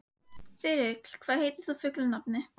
Þarna er þessi og hérna hinn.